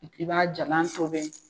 I b'a jalan tobe.